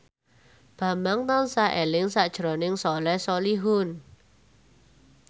Bambang tansah eling sakjroning Soleh Solihun